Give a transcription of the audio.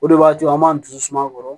O de b'a to an b'an dusu suma kɔrɔ